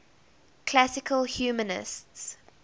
classical humanists